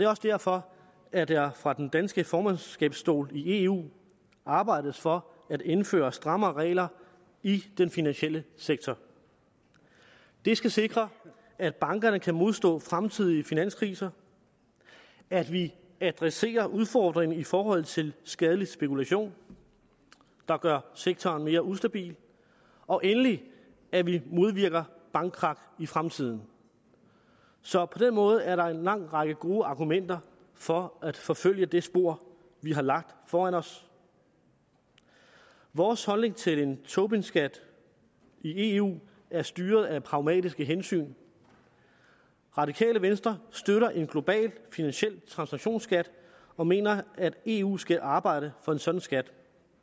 også derfor at der fra det danske formandskabs stol i eu arbejdes for at indføre strammere regler i den finansielle sektor det skal sikre at bankerne kan modstå fremtidige finanskriser at vi adresserer udfordringen i forhold til skadelig spekulation der gør sektoren mere ustabil og endelig at vi modvirker bankkrak i fremtiden så på den måde er der en lang række gode argumenter for at forfølge det spor vi har lagt foran os vores holdning til en tobinskat i eu er styret af pragmatiske hensyn radikale venstre støtter en global finansiel transaktionsskat og mener at eu skal arbejde for en sådan skat